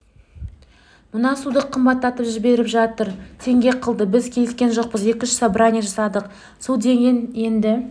мына суды қымбаттатып жіберіп жатыр теңге қылды біз келіскен жоқпыз екі-үш собрание жасады су деген енді